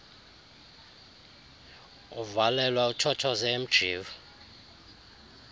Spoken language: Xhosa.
uvalelwe uthothoze emjiva